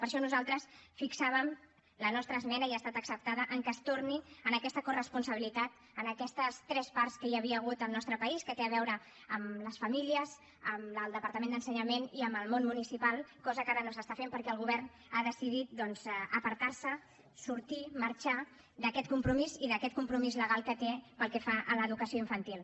per això nosaltres fixàvem en la nostra esmena i ha estat acceptada que es torni a aquesta coresponsabilitat a aquestes tres parts que hi havia hagut al nostre país que tenen a veure amb les famílies amb el departament d’ensenyament i amb el món municipal cosa que ara no s’està fent perquè el govern ha decidit doncs apartar se sortir marxar d’aquest compromís i d’aquest compromís legal que té pel que fa a l’educació infantil